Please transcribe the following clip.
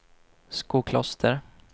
Skokloster